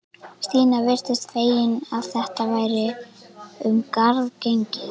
Stína virtist fegin að þetta væri um garð gengið.